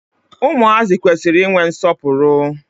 Ụmụazị kwesiri I nwe nsọpụrụ.